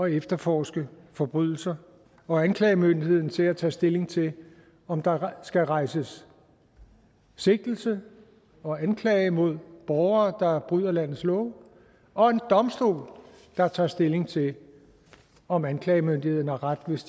efterforske forbrydelser og anklagemyndigheden til at tage stilling til om der skal rejses sigtelse og anklage mod borgere der bryder landets love og en domstol der tager stilling til om anklagemyndigheden har ret hvis